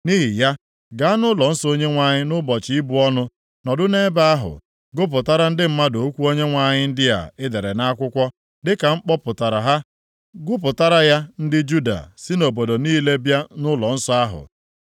Nʼihi ya, gaa nʼụlọnsọ Onyenwe anyị nʼụbọchị ibu ọnụ, nọdụ nʼebe ahụ gụpụtara ndị mmadụ okwu Onyenwe anyị ndị a ị dere nʼakwụkwọ dịka m kpọpụtara ha. Gụpụtara ya ndị Juda si obodo niile bịa nʼụlọnsọ ahụ.